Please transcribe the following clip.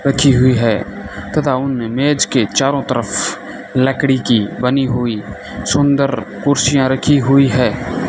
रखी हुई है तथा उनमें मेज के चारों तरफ लकड़ी की बनी हुई सुंदर कुर्सियां रखी हुई है।